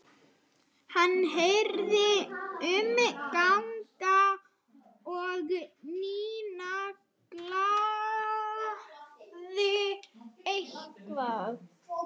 Hann heyrði umgang og Nína galaði eitthvað.